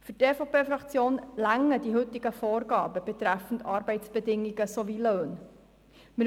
Für die EVP-Fraktion reichen die heutigen Vorgaben betreffend Arbeitsbedingungen und Löhne aus.